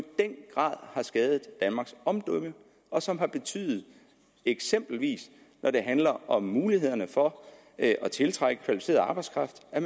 den grad har skadet danmarks omdømme og som har betydet eksempelvis når det handler om mulighederne for at tiltrække kvalificeret arbejdskraft at